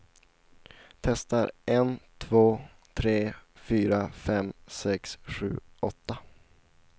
Testar en två tre fyra fem sex sju åtta.